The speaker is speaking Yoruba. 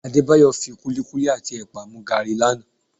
Adébáyọ̀ kúlíkúlí àti ẹ̀pà mu gààrí lánàá